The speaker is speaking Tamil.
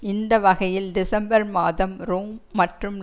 இந்த வகையில் டிசம்பர் மாதம் ரோம் மற்றும்